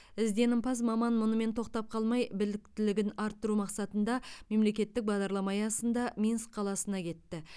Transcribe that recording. ізденімпаз маман мұнымен тоқтап қалмай біліктілігін арттыру мақсатында мемлекеттік бағдарлама аясында минск қаласына кетті